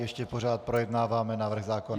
Ještě pořád projednáváme návrh zákona.